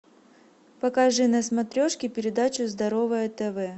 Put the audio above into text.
покажи на смотрешке передачу здоровое тв